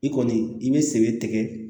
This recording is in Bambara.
I kɔni i bɛ sɛbɛ tɛgɛ